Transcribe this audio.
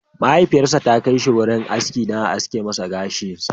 Mahaifiyarsa ta kai shi wurin aski dan a aske masa gashi.